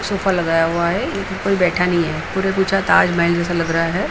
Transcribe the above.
Sofa लगाया हुआ है कोइ बैठा नहीं है ताजमहल जैसा लग रहा है।